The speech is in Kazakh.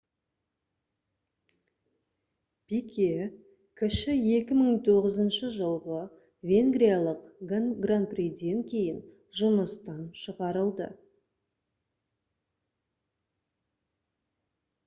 пике кіші 2009 жылғы венгриялық гран приден кейін жұмыстан шығарылды